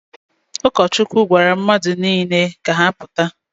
Ụkọchukwu gwara mmadụ niile ka ha pụta